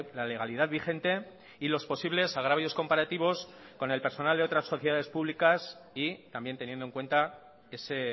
la legalidad vigente y los posibles agravios comparativos con el personal de otras sociedades públicas y también teniendo en cuenta ese